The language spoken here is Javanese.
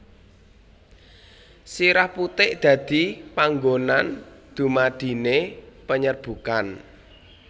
Sirah putik dadi panggonan dumadine penyerbukan